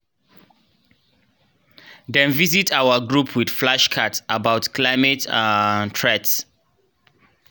dem visit our group with flashcards about climate um threats.